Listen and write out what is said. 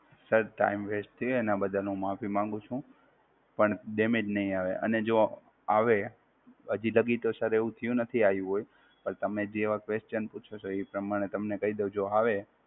Sir Time West થ્યું એનાં બદ્દલ હું માફી માંગુ છું. પણ damage નહિ આવે અને જો આવે હજી તક ઈ તો Sir એવું થ્યું નથી આવ્યું હોય, પણ તમે જેવાં Question પૂછો છો ઈ પ્રમાણે તમને કઈ દઉં જો આવે,